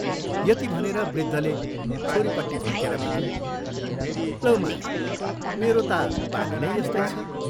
यति भनेर वृद्धले छोरीपट्टि फर्केर भने, "लौ माया, मेरो ता बानी नै यस्तै छ।